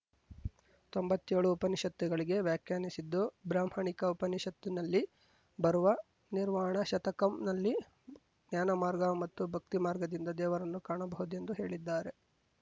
ತೊಂಬತ್ತೇಳು ಉಪನಿಷತ್ತುಗಳಿಗೆ ವ್ಯಾಖ್ಯಾನಿಸಿದ್ದು ಬ್ರಾಹ್ಮಣಿಕ ಉಪನಿಷತ್ತಿನಲ್ಲಿ ಬರುವ ನಿರ್ವಾಣ ಶತಕಂನಲ್ಲಿ ಜ್ಞಾನಮಾರ್ಗ ಮತ್ತು ಭಕ್ತಿಮಾರ್ಗದಿಂದ ದೇವರನ್ನು ಕಾಣಬಹುದೆಂದು ಹೇಳಿದ್ದಾರೆ